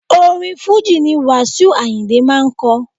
Orin fújì ni wasiu ayinde máa ń ko.